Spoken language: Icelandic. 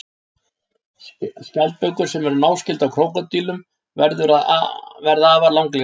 Skjaldbökur sem eru náskyldar krókódílum verða afar langlífar.